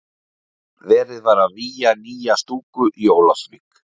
Verið var að vígja nýja stúku í Ólafsvík.